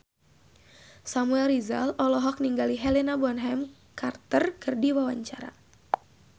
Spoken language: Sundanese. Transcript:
Samuel Rizal olohok ningali Helena Bonham Carter keur diwawancara